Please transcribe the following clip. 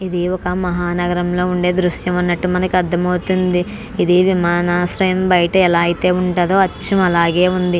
ఈ ఒక మహానగరం ల ఉందే దృశ్యం అన్నట్టు మనకి అర్ధం అవుతుంది ఇది విమాన ఆశ్రయం బయటే ఎలైతే ఉంటాడో అచ్చమ్ అలాగే ఉంది.